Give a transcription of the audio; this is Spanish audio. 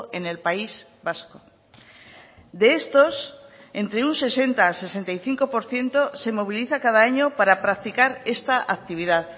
en el país vasco de estos entre un sesenta sesenta y cinco por ciento se moviliza cada año para practicar esta actividad